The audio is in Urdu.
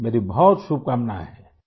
میری بہت بہت نیک خواہشات ہیں